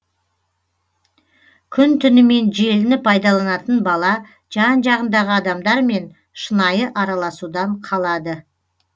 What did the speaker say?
күн түнімен желіні пайдаланатын бала жан жағындағы адамдармен шынайы араласудан қалады